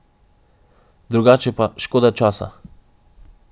Drugače pa škoda časa.